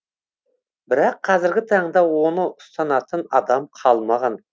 бірақ қазіргі таңда оны ұстанатын адам қалмаған